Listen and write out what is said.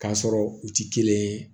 K'a sɔrɔ u ti kelen ye